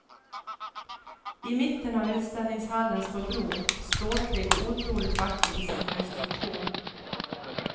I mitten av utställningshallen står bron, ståtlig och otroligt vacker i sin konstruktion.